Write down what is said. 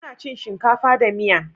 Muna cin shinkafa da miya.